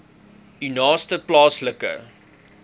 u naaste plaaslike